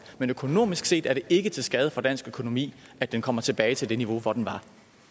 men økonomisk set er det ikke til skade for dansk økonomi at den kommer tilbage til det niveau hvor den var